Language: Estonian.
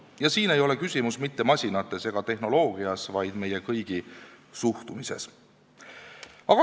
Ja siin ei ole küsimus mitte masinates ega tehnoloogias, vaid meie kõigi suhtumises.